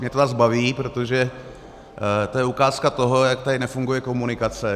Mě to zase baví, protože to je ukázka toho, jak tady nefunguje komunikace.